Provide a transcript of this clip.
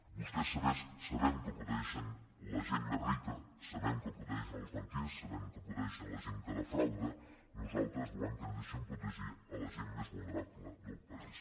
vostè sabem que protegeixen la gent més rica sabem que protegeixen els banquers sabem que protegeixen la gent que defrauda nosaltres volem que ens deixin protegir la gent més vulnerable del país